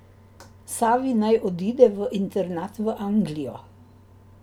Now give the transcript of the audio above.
Savi naj odide v internat v Anglijo.